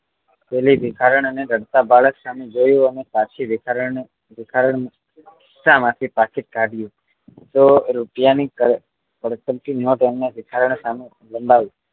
પેલી ભિખારણ અને રડતા બાળક સામે જોયું અને પછી ભિખારણ ભિખારણ ખીસા માંથી પાકીટ કાઢ્યું સૌ રૂપિયા ની કડકડતી નોટ એણે ભિખારણ સામે લંબાવ્યુ